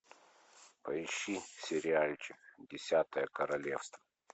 поищи сериальчик десятое королевство